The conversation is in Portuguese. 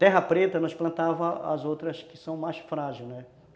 Terra preta nós plantávamos as outras que são mais frágil, né?